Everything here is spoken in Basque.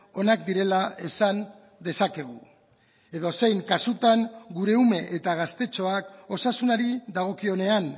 onak direla esan dezakegu edozein kasutan gure ume eta gaztetxoak osasunari dagokionean